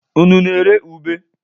Unu na-ere ube?